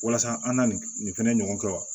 Walasa an na nin fɛnɛ ɲɔgɔn kɛ wa